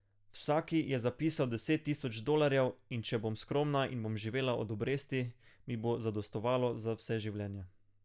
Vsaki je zapisal deset tisoč dolarjev, in če bom skromna in bom živela od obresti, mi bo zadostovalo za vse življenje.